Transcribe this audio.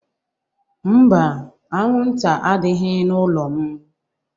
Mba, anwụnta adịghị n'ụlọ m